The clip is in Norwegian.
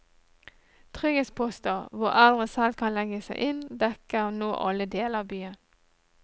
Trygghetsposter, hvor eldre selv kan legge seg inn, dekker nå alle deler av byen.